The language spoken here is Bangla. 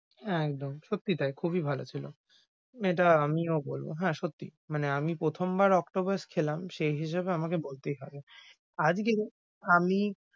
একদম সত্যি তাই খুবই ভালো ছিল। এটা আমিও বলব হ্যাঁ, সত্যি মানে আমি প্রথমবার octopus খেলাম সেই হিসেবে আমাকে বলতেই হবে। আমি,